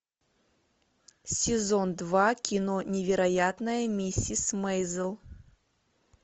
сезон два кино невероятная миссис мейзел